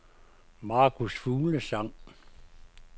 Marcus Fuglsang